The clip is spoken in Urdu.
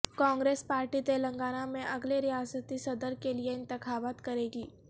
کانگریس پارٹی تلنگانہ میں اگلے ریاستی صدر کےلیے انتخابات کرے گی